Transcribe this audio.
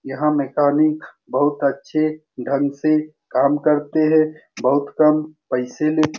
यहा मैकेनिक बहुत अच्छे ढंग से काम करते हैं बहुत कम पैसे लेते --